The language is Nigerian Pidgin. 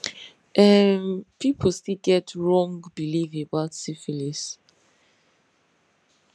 um people still get wrong belief about syphilis